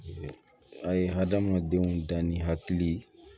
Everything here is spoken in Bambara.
A ye hadamadenw dan ni hakili